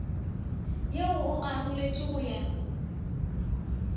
ye o aroletšwe go ya